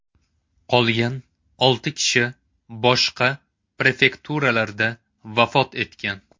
Qolgan olti kishi boshqa prefekturalarda vafot etgan.